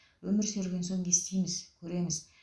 өмір сүрген соң естиміз көреміз